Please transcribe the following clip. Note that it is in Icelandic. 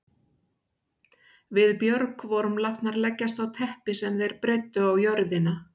Við Björg vorum látnar leggjast á teppi sem þeir breiddu á jörðina.